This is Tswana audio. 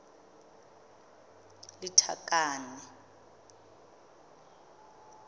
lethakane